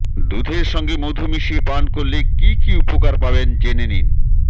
দুধের সঙ্গে মধু মিশিয়ে পান করলে কী কী উপকার পাবেন জেনে নিন